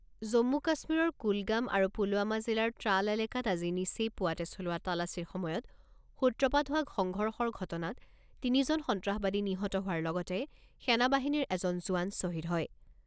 জম্মু কাশ্মীৰৰ কুলগাম আৰু পুলৱামা জিলাৰ ট্ৰাল এলেকাত আজি নিচেই পুৱাতে চলোৱা তালাচীৰ সময়ত সূত্ৰপাত হোৱা সংঘৰ্ষৰ ঘটনাত তিনিজন সন্ত্ৰাসবাদী নিহত হোৱাৰ লগতে সেনা বাহিনীৰ এজন জোৱান শ্বহীদ হয়।